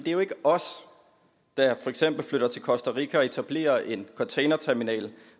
er jo ikke os der for eksempel flytter til costa rica og etablerer en containerterminal